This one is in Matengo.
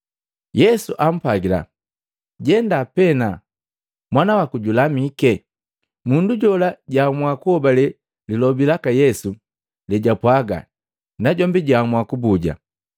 Yesu ampwagila, “Jenda pena mwana waku julamike!” Mundu jola jaamua kuhobale lilobi laka Yesu lejwapwaga najombi jaamua kubuja.